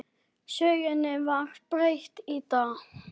Sögunni var breytt í dag.